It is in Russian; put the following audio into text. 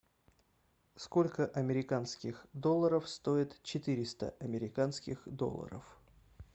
сколько американских долларов стоит четыреста американских долларов